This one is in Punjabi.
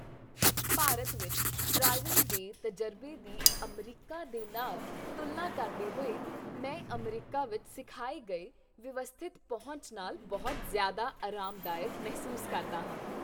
ਭਾਰਤ ਵਿੱਚ ਡਰਾਈਵਿੰਗ ਦੇ ਤਜ਼ਰਬੇ ਦੀ ਅਮਰੀਕਾ ਦੇ ਨਾਲ ਤੁਲਨਾ ਕਰਦੇ ਹੋਏ, ਮੈਂ ਅਮਰੀਕਾ ਵਿੱਚ ਸਿਖਾਏ ਗਏ ਵਿਵਸਥਿਤ ਪਹੁੰਚ ਨਾਲ ਬਹੁਤ ਜ਼ਿਆਦਾ ਆਰਾਮਦਾਇਕ ਮਹਿਸੂਸ ਕਰਦਾ ਹਾਂ।